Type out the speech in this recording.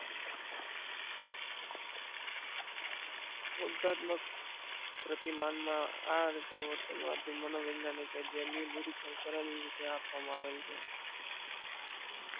ઉધાત્મક પ્રતિમાન માં આ રીતે વર્તનવાદી મનોવૈજ્ઞાનિક એ જેમનું નિરીક્ષણ કરેલું કેવી રીતે આપવામાં આવે છે